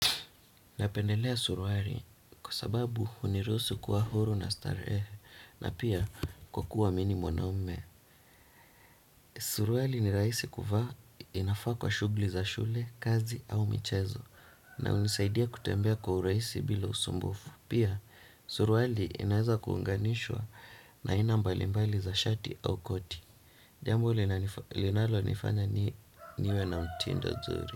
Napendelea suruali kwa sababu hunirusu kuwa huru na starehe na pia kwa kuwa mimi ni mwanaume. Suruali ni rahisi kuvaa inafaa kwa shughli za shule, kazi au michezo na hunisaidia kutembea kwa urahisi bila usumbufu. Pia suruali inaweza kuunganishwa na aina mbali mbali za shati au koti. Jambo linalo nifanya niwe na mtindo zuri.